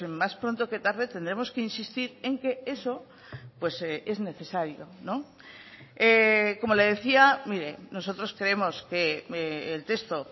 más pronto que tarde tendremos que insistir en que eso pues es necesario como le decía mire nosotros creemos que el texto